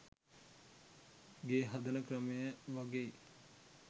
ගේ හදන ක්‍රමය වගෙයි.